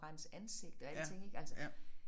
Rense ansigt og alting ik altså